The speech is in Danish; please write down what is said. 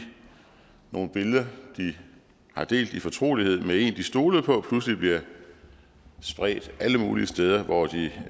nogle billeder de har delt i fortrolighed med en de stolede på pludselig bliver spredt alle mulige steder hvor de